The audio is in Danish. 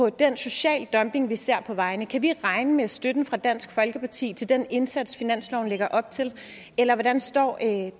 den sociale dumping som vi ser på vejene kan vi regne med støtte fra dansk folkeparti til den indsats som finansloven lægger op til eller hvordan står